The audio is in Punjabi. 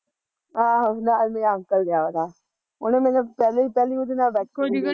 ਆਹੋ ਨਾਲ਼ ਮੇਰੇ ਅੰਕਲ ਗਿਆ ਵਾਂ ਤਾ ਉਹਨੇ ਮੈਨੂੰ ਪਹਿਲੇ ਪਹਿਲੇ ਉਹਦੇ ਨਾਲ਼ ਬੈਠਣ ਦੇਤਾਂ